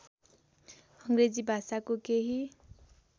अङग्रेजी भाषाको केही